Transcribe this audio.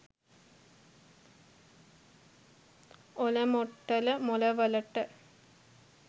ඔලමොට්ටල මොල වලට